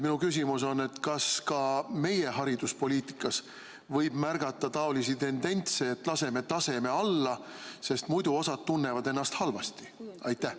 Minu küsimus on: kas ka meie hariduspoliitikas võib märgata selliseid tendentse, et laseme taseme alla, sest muidu osa tunneb ennast halvasti?